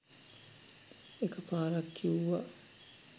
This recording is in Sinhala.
එක පාරක් කිව්වා